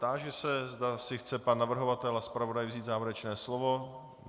Táži se, zda si chce pan navrhovatel a zpravodaj vzít závěrečné slovo.